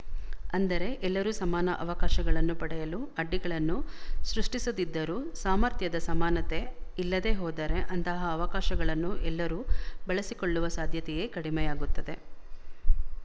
ಅಂದರೆ ಎಲ್ಲರೂ ಸಮಾನ ಅವಕಾಶಗಳನ್ನು ಪಡೆಯಲು ಅಡ್ಡಿಗಳನ್ನು ಸೃಷ್ಟಿಸದಿದ್ದರೂ ಸಾಮರ್ಥ್ಯದ ಸಮಾನತೆ ಇಲ್ಲದೆ ಹೋದರೆ ಅಂತಹ ಅವಕಾಶಗಳನ್ನು ಎಲ್ಲರೂ ಬಳಸಿಕೊಳ್ಳುವ ಸಾಧ್ಯತೆಯೇ ಕಡಿಮೆಯಾಗುತ್ತದೆ